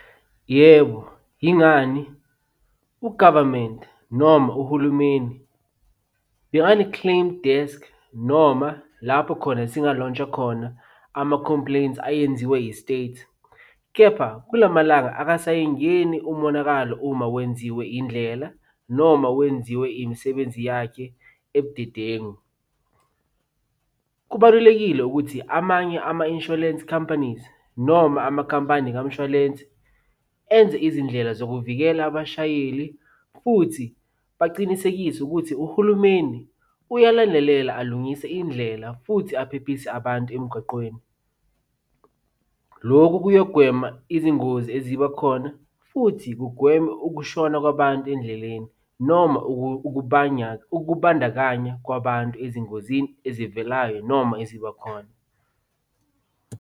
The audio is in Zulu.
Yebo, yingani? U-government noma uhulumeni, bengane-claim desk noma lapho khona singa-launch-a khona ama-compliments ayenziwe yi-state, kepha kula malanga akasayingeni umonakalo uma wenziwe indlela noma wenziwe imisebenzi yakhe ebudedengu. Kubalulekile ukuthi amanye ama-insurance companies noma amakhampani kamshwalensi enze izindlela zokuvikela abashayeli futhi bacinisekise ukuthi uhulumeni uyalandelela alungise indlela futhi aphephise abantu emgwaqweni. Lokhu kuyokugwema izingozi eziba khona futhi kugweme ukushona kwabantu endleleni noma ukubandakanya kwabantu ezingozini ezivelayo noma eziba khona.